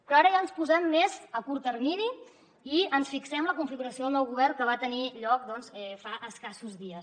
però ara ja ens posem més a curt termini i ens fixem en la configuració del nou govern que va tenir lloc fa escassos dies